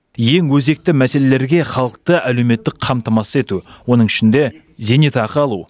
ең өзекті мәселелерге халықты әлеуметтік қамтамасыз ету оның ішінде зейнетақы алу